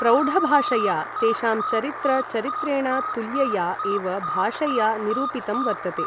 प्रौढभाषया तेषां चरित्र चरित्रेण तुल्यया एव भाषया निरूपितं वर्तते ।